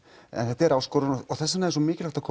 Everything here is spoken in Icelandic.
en þetta er áskorun þess vegna er svona mikilvægt að